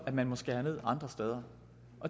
at man må skære ned andre steder